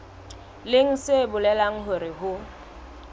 leng se bolelang hore ho